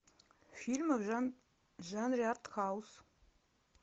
фильмы в жанре артхаус